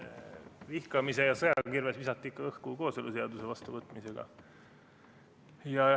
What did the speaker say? Vihkamise ja sõja kirves visati õhku ikka kooseluseaduse vastuvõtmisega.